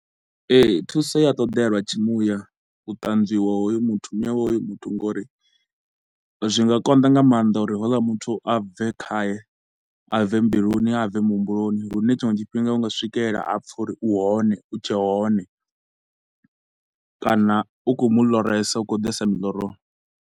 Ee, thuso ya ṱoḓea lwa tshi muya, u tanzwiwa hoyu muthu muya wa hoyo muthu nga uri zwi nga konḓa nga maanḓa uri houḽa muthu a bve khaye, a bve mbiluni, a bve muhumbuloni. Lune tshiṅwe tshifhinga u nga swikelela a pfa uri u hone, u tshe hone kana u khou mu loresa, u khou ḓesa miḽoroni.